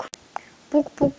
пук пук